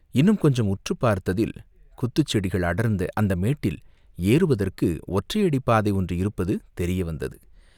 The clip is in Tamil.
இன்னும் கொஞ்சம் உற்றுப் பார்த்ததில், குத்துச் செடிகள் அடர்ந்த அந்த மேட்டில் ஏறுவதற்கு, ஒற்றையடிப்பாதை ஒன்று இருப்பது தெரிய வந்தது.